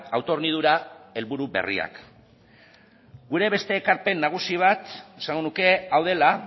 autohornidura helburu berriak gure beste ekarpen nagusi bat esango nuke hau dela